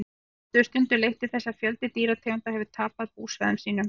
þetta hefur stundum leitt til þess að fjöldi dýrategunda hefur tapað búsvæðum sínum